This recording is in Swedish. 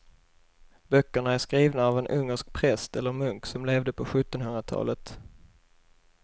Böckerna är skrivna av en ungersk präst eller munk som levde på sjuttonhundratalet.